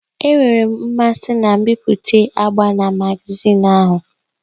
Enwere m mmasị na mbipụta agba na magazin ahụ.